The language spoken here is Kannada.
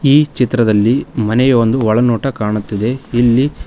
ಈ ಚಿತ್ರದಲ್ಲಿ ಮನೆಯ ಒಂದು ಒಳನೋಟ ಕಾಣುತ್ತಿದೆ ಇಲ್ಲಿ--